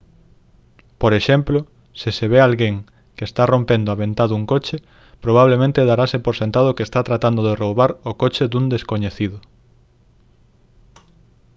por exemplo se se ve alguén que está rompendo a ventá dun coche probablemente darase por sentado que está tratado de roubar o coche dun descoñecido